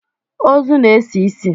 Ozu na-esi isi.